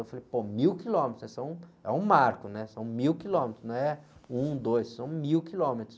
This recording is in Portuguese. Eu falei, pô, mil quilômetros, esse é um, é um marco, são mil quilômetros, não é um, dois, são mil quilômetros.